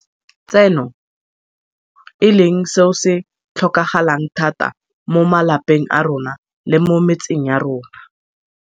tseno, e leng seo se tlhokagalang thata mo malapeng a rona le mo metseng ya rona.